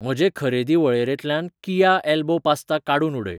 म्हजे खरेदी वळेरेंतल्यान किया एल्बो पास्ता काडून उडय.